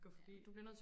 gå forbi